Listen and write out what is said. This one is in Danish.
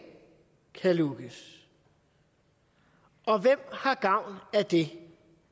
lukkes og hvem har gavn af det